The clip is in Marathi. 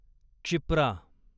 क्षिप्रा